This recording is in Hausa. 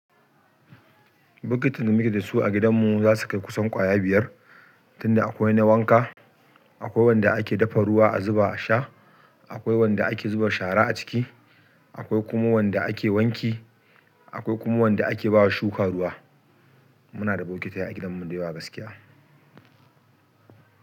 Bokitin da muke da su a gidanmu za su kai kusan ƙwaya biyar, tunda akwai na wanka, akwai wanda ake dafa ruwa a zuba a sha, akwai wanda ake zuba shara a ciki, akwai kuma wanda ake wanki, akwai kuma wanda ake bawa shuka ruwa. Muna da bokitai a gidanmu da yawa gaskiya.